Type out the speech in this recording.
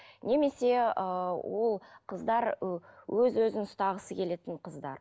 немесе ы ол қыздар ы өз өзін ұстағысы келетін қыздар